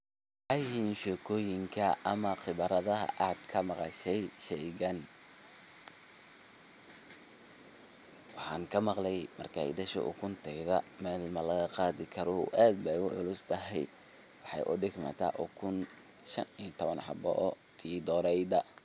Maxa yihiin sheekoyinka ama qiibaradhaha aad kamaqashaay sheeygan waxan kamaqli markaay dashoo ukuntedha meel malaqadhii karoo aad baay uculus tahaay waxaay udigmata ukuun shaan iyo tabaan xaboo oo tii dorayda.